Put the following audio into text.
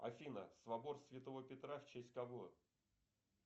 афина собор святого петра в честь кого